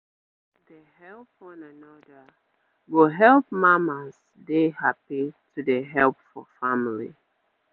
make area dey help one another go help mamas dey happy to dey help for family